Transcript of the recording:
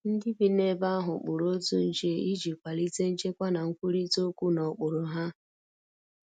Ndi bi n'ebe ahu kpụrụ otụ nche ịjị kwalite nchekwa na nkwụrita okwu na okpụrụ ha